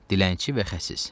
Dilənçi və xəsis.